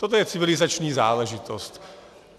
Toto je civilizační záležitost.